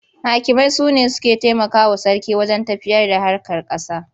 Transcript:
Hakimai su ne suke taimakawa sarki wajen tafiyarda harkar ƙasa.